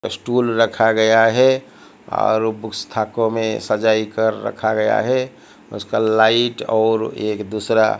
stool रखा गया है और बूक्स थाके में सजाई कर रखा गया है उसका लाइट और एक दूसरा --